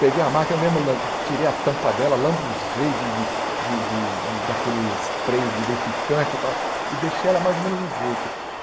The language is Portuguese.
Peguei a máquina, eu mesmo lam tirei a tampa dela, lambuzei de de de de de daquele spray lubrificante tal e deixei ela mais ou menos no jeito.